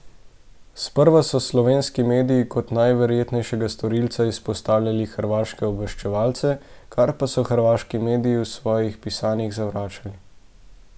Sprva so slovenski mediji kot najverjetnejšega storilca izpostavljali hrvaške obveščevalce, kar pa so hrvaški mediji v svojih pisanjih zavračali.